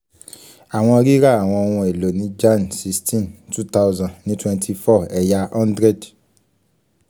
awọn rira awọn oun elo ni jan sixteen two thousand ni twenty four ẹya hundred